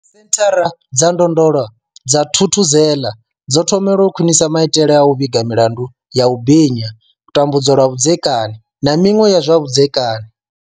Senthara dza ndondolo dza thuthuzela dzo thomelwa u khwinisa maitele a u vhiga milandu ya u binya tambudzwa lwa vhudzekani na miṅwe ya zwa vhudzekani.